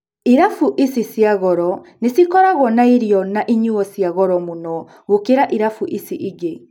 Irabu ici cia goro nĩcikoragwo na irio na inyuo cia goro muno gukira irabu icio ingĩ.